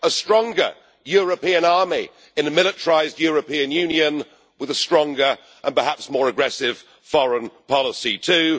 a stronger European army in a militarised European Union with a stronger, and perhaps more aggressive, foreign policy too